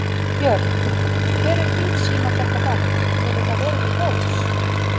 Björn: Hver er þín sýn á þetta bann, hefur það verið til góðs?